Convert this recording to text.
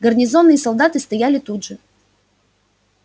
гарнизонные солдаты стояли тут же